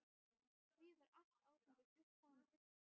Því var allt áfengi flutt þannig.